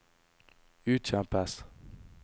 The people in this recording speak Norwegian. utkjempes